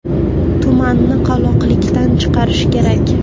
Tumanni qoloqlikdan chiqarish kerak.